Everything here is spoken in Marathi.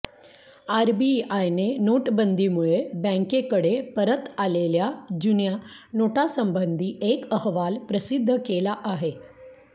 आरबीआयने नोटबंदीमुळे बॅंकेकडे परत आलेल्या जुन्या नोटासंबंधी एक अहवाल प्रसिद्ध केला आहे